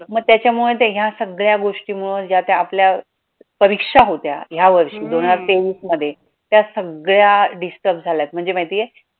मग त्याचामुळे तर या सगळ्या गोष्टीमुळं ज्या त्या आपल्या परीक्षा होत्या या वर्षी दोन हजार तेवीसमध्ये त्या सगळ्या disturb झाल्यात म्हणजे माहितीये